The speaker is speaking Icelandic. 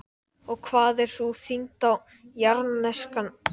Og hvað er sú þyngd á jarðneskan mælikvarða, kannski svona